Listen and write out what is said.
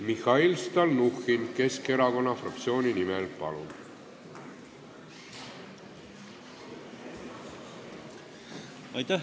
Mihhail Stalnuhhin Keskerakonna fraktsiooni nimel, palun!